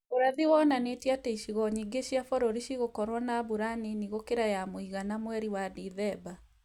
Ũrathi wonanĩtie atĩ icigo nyingĩ cia bũrũri cigũkorwo na mbura nini gũkira ya mũigana mweri wa Disemba